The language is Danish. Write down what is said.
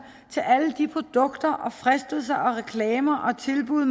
til alle de produkter og fristelser og reklamer og tilbud